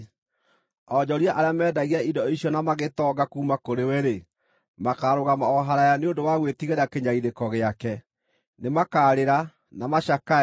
Onjoria arĩa meendagia indo icio na magĩtonga kuuma kũrĩ we-rĩ, makaarũgama o haraaya nĩ ũndũ wa gwĩtigĩra kĩnyariirĩko gĩake. Nĩmakarĩra, na macakae,